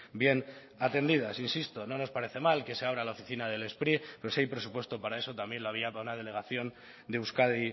bien atendidas insisto no nos parece mal que se abra la oficina del spri pero si hay presupuesto para eso también lo había para una delegación de euskadi